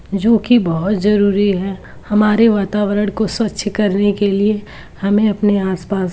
जोकि बहोत जरूरी है हमारे वातावरण को स्वच्छ करने के लिए हमें अपने आस-पास --